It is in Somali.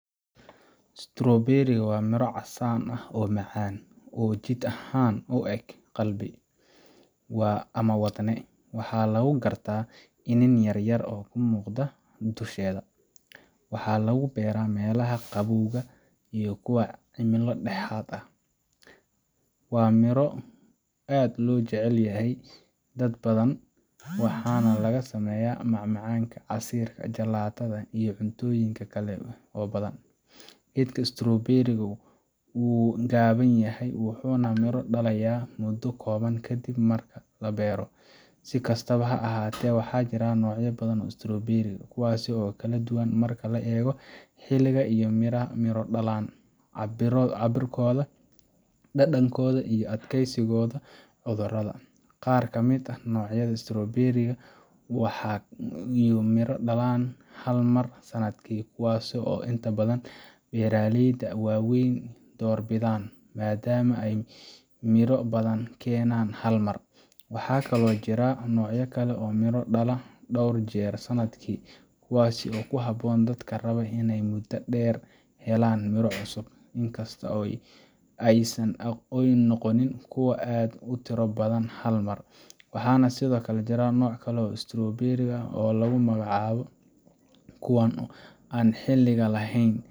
Strawberry waa miro casaanka ah oo macaan, oo jidh ahaan u eg qalbi ama wadne, waxaana lagu gartaa iniin yar yar oo ka muuqda dusheeda. Waxaa lagu beeraa meelaha qaboobaha iyo kuwa cimilo dhexdhexaad ah leh. Waa miro aad u jecel yihiin dad badan, waxaana laga sameeyaa macmacaanka, casiirka, jalaatada iyo cuntooyin kale oo badan. Geedka Strawberry ga wuu gaaban yahay, wuxuuna miro dhalayaa muddo kooban kadib marka la beero. Si kastaba ha ahaatee, waxaa jira noocyo badan oo Strawberry ah, kuwaas oo kala duwan marka loo eego xilliga ay miro dhalaan, cabbirkooda, dhadhankooda, iyo adkeysigooda cudurrada. Qaar ka mid ah noocyada Strawberry ga waxay miro dhalaan hal mar sannadkii, kuwaasoo inta badan beeraleyda waaweyn ay doorbidaan maadaama ay midho badan keenaan hal mar. Waxaa kaloo jira noocyo kale oo miro dhala dhowr jeer sannadkii, kuwaas oo ku habboon dadka raba inay muddada dheer helaan miro cusub, in kasta oo aysan noqonin kuwo aad u tiro badan hal mar. Waxaa sidoo kale jira nooc kale oo Strawberry ah oo lagu magacaabo kuwa aan xilliga lahayn